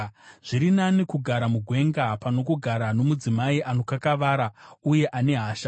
Zviri nani kugara mugwenga, pano kugara nomudzimai anokakavara uye ane hasha.